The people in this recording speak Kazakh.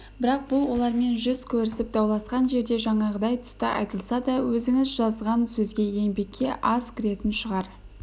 бірақ бұл олармен жүз көрісіп дауласқан жерде жаңағыдай тұста айтылса да өзіңіз жазған сөзге еңбекке аз кіретін шығар